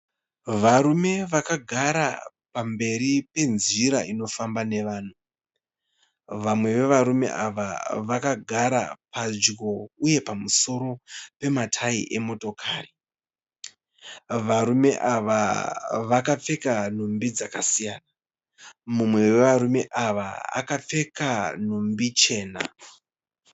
Varume vakagara pamberi penzira inofamba nevanhu. Vamwe vevarume ava vakagara padyo uye pamusoro pematayi emotokari. Varume ava vakapfeka nhumbi dzakasiyana, mumwe wevarume ava akapfeka nhumbi chena.